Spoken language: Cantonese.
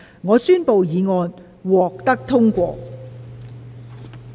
我宣布議案獲得通過。